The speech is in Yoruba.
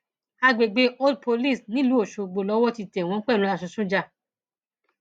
àgbègbè old police nílùú ọṣọgbó lowó ti tẹ wọn pẹlú aṣọ sójà